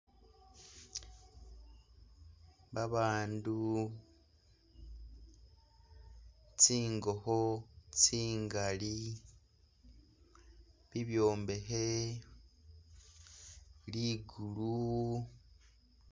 Babandu tsingokho tsingali, bibyombekhe, ligulu